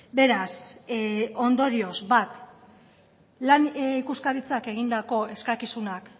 beraz ondorioz bat lan ikuskaritzak egindako eskakizunak